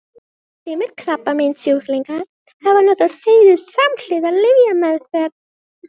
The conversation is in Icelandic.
Sumir krabbameinssjúklingar hafa notað seyðið samhliða lyfjameðferð.